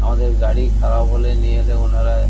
আমাদের গাড়ি খারাপ হলে নিয়ে এলে ওনারা--